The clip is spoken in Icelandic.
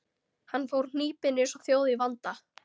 Hann fór hnípinn, einsog þjóð í vanda.